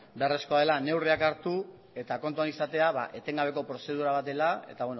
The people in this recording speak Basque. beharrezkoa dela neurriak hartu eta kontuan izatea etengabeko prozedura bat dela eta